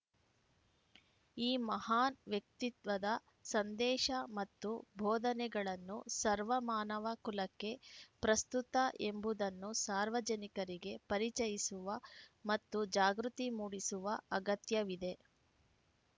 ಈ ಮಹಾನ್‌ ವ್ಯಕ್ತಿತ್ವದ ಸಂದೇಶ ಮತ್ತು ಬೋಧನೆಗಳನ್ನು ಸರ್ವ ಮಾನವ ಕುಲಕ್ಕೆ ಪ್ರಸ್ತುತ ಎಂಬುದನ್ನು ಸಾರ್ವಜನಿಕರಿಗೆ ಪರಿಚಯಿಸುವ ಮತ್ತು ಜಾಗೃತಿ ಮೂಡಿಸುವ ಅಗತ್ಯವಿದೆ